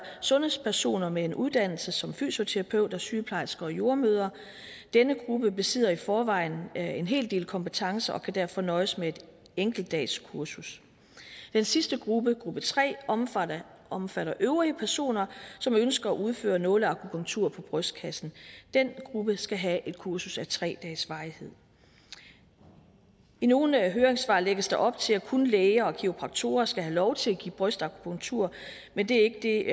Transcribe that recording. sundhedspersoner med en uddannelse som fysioterapeut sygeplejersker og jordemødre denne gruppe besidder i forvejen en en hel del kompetencer og kan derfor nøjes med et enkeltdagskursus den sidste gruppe gruppe tre omfatter omfatter øvrige personer som ønsker at udføre nåleakupunktur på brystkassen den gruppe skal have et kursus af tre dages varighed i i nogle høringssvar lægges der op til at kun læger og kiropraktorer skal have lov til at give brystakupunktur men det er ikke